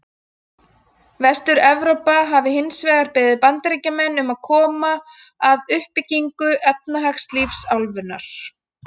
Vestur-Evrópa hafi hins vegar beðið Bandaríkjamenn um að koma að uppbyggingu efnahagslífs álfunnar.